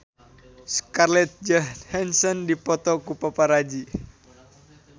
Scarlett Johansson dipoto ku paparazi